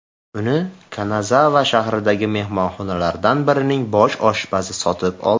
Uni Kanazava shahridagi mehmonxonalardan birining bosh oshpazi sotib oldi.